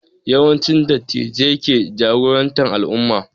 Yawanci Dattijai ke jagorantar al'umma